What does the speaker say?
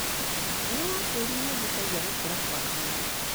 Hinya wa tĩrĩ nĩũhutagia gũkũra kwa mĩmera.